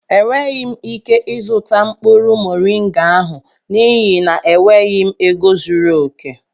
Enweghị m ike ịzụta mkpụrụ moringa ahụ n'ihi na enweghị m ego zuru oke